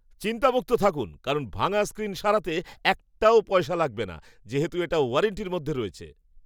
চিন্তামুক্ত থাকুন কারণ ভাঙা স্ক্রিন সারাতে একটা পয়সাও লাগবে না। যেহেতু এটা ওয়ারান্টির মধ্যে রয়েছে।